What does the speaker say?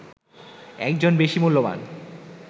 একজন বেশি মূল্যবান